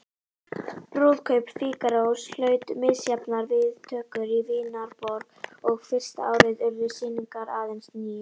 Brúðkaup Fígarós hlaut misjafnar viðtökur í Vínarborg og fyrsta árið urðu sýningar aðeins níu.